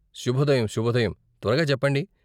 శుభోదయం, శుభోదయం, త్వరగా చెప్పండి.